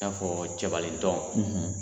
I n'a fɔ cɛbalentɔn,